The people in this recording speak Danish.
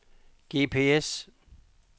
GPS